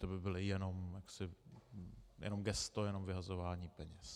To by bylo jenom gesto, jenom vyhazování peněz.